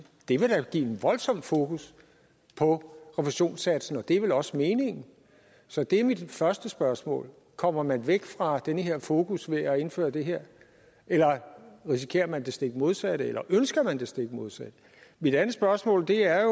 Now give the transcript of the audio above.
det vil da give en voldsom fokus på refusionssatsen og det er vel også meningen så det er mit første spørgsmål kommer man væk fra den her fokus ved at indføre det her eller risikerer man det stik modsatte eller ønsker man det stik modsatte mit andet spørgsmål er